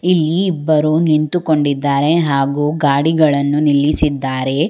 ಇಲ್ಲಿ ಇಬ್ಬರು ನಿಂತುಕೊಂಡಿದ್ದಾರೆ ಹಾಗೂ ಗಾಡಿಗಳನ್ನು ನಿಲ್ಲಿಸಿದ್ದಾರೆ.